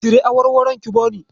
Cire awarwarayen ki bani.